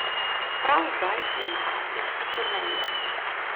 Prav zdaj je na afriški turneji.